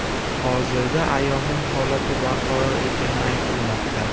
Hozirda ayolning holati barqaror ekani aytilmoqda.